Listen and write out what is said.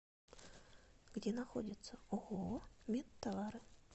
где находится ооо медтовары